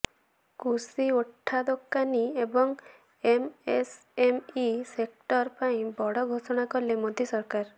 କୃଷି ଉଠାଦୋକାନୀ ଏବଂ ଏମ୍ଏସ୍ଏମ୍ଇ ସେକ୍ଟର ପାଇଁ ବଡ଼ ଘୋଷଣା କଲେ ମୋଦୀ ସରକାର